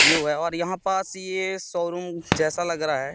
और यहां पास ये शोरूम जैसा लग रहा है।